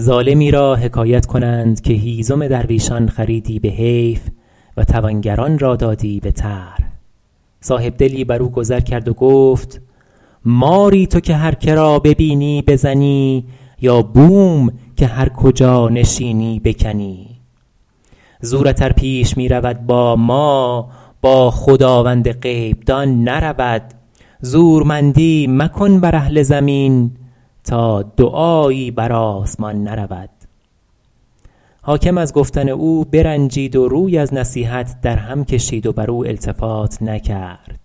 ظالمی را حکایت کنند که هیزم درویشان خریدی به حیف و توانگران را دادی به طرح صاحبدلی بر او گذر کرد و گفت ماری تو که هر که را ببینی بزنی یا بوم که هر کجا نشینی بکنی زورت ار پیش می رود با ما با خداوند غیب دان نرود زورمندی مکن بر اهل زمین تا دعایی بر آسمان نرود حاکم از گفتن او برنجید و روی از نصیحت او در هم کشید و بر او التفات نکرد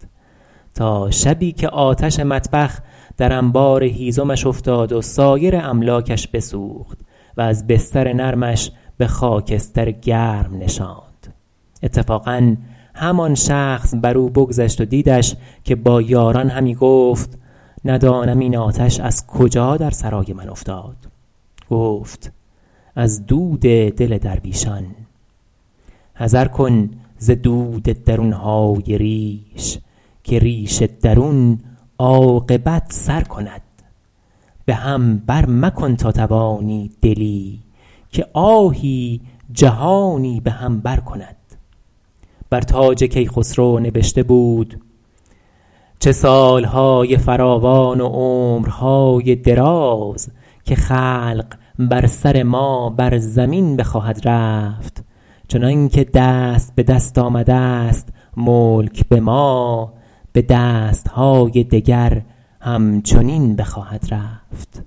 تا شبی که آتش مطبخ در انبار هیزمش افتاد و سایر املاکش بسوخت وز بستر نرمش به خاکستر گرم نشاند اتفاقا همان شخص بر او بگذشت و دیدش که با یاران همی گفت ندانم این آتش از کجا در سرای من افتاد گفت از دل درویشان حذر کن ز درد درون های ریش که ریش درون عاقبت سر کند به هم بر مکن تا توانی دلی که آهی جهانی به هم بر کند بر تاج کیخسرو نبشته بود چه سال های فراوان و عمر های دراز که خلق بر سر ما بر زمین بخواهد رفت چنان که دست به دست آمده ست ملک به ما به دست های دگر هم چنین بخواهد رفت